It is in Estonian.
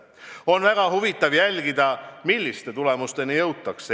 On väga huvitav jälgida, milliste tulemusteni jõutakse.